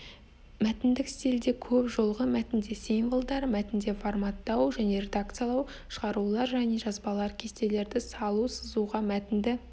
мәтіндік стильдер көп жолғы мәтінде символдар мәтінде форматтау жне редакциялау шығарулар және жазбалар кестелерді салу сызуға мәтінді